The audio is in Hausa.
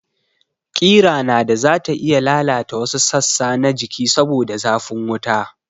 Kira nada zata iya lalata wasu sassa na jiki saboda zafin wuta